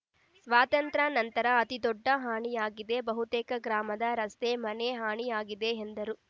ಸ್ವಾತಂತ್ರ್ಯ ನಂತರ ಅತಿದೊಡ್ಡ ಹಾನಿಯಾಗಿದೆ ಬಹುತೇಕ ಗ್ರಾಮದ ರಸ್ತೆ ಮನೆ ಹಾನಿಯಾಗಿದೆ ಎಂದರು